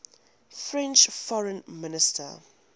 french foreign minister